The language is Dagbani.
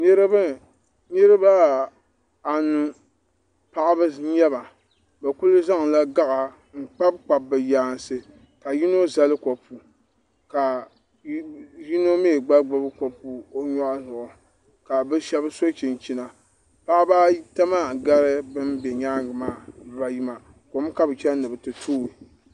niriba niribaanu paɣ' ba n nyɛba bɛ kuli zanla gaɣ' n kpabikpabi bɛ yaanisi ka yino zali kupu ka yino gbami gbabi kopu ka bɛ shɛbi so chɛnichɛna paɣ' baata maa gari bɛn bɛ nyɛgi maa niribaayi maa kom ka be chɛni ni be ti toi